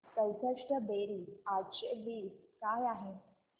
चौसष्ट बेरीज आठशे वीस काय आहे